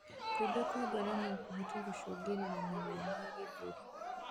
Kuimba kwa ngoro nokuhote gũcũngĩrĩrĩa maruo ma gĩthũri